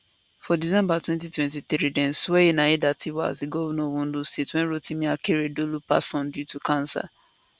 for december 2023 dem swearin aiyetidawa as di governor of ondo state wen rotimi akeredolu pass on due to cancer